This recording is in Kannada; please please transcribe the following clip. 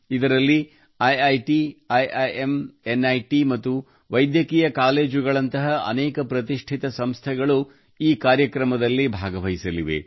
ಇದರಲ್ಲಿ ಐಐಟಿ ಐಐಎಂ ಎನ್ಐಟಿ ಮತ್ತು ವೈದ್ಯಕೀಯ ಕಾಲೇಜುಗಳಂತಹ ಅನೇಕ ಪ್ರತಿಷ್ಠಿತ ಸಂಸ್ಥೆಗಳು ಕೂಡ ಈ ಕಾರ್ಯಕ್ರಮದಲ್ಲಿ ಭಾಗವಹಿಸಲಿವೆ